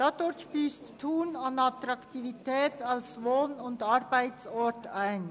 Dadurch würde Thun an Attraktivität als Wohn- und Arbeitsort einbüssen.